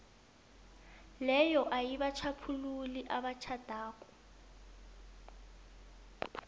leyo ayibatjhaphululi abatjhadako